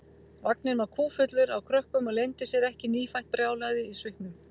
Vagninn var kúffullur af krökkum og leyndi sér ekki nýfætt brjálæðið í svipnum.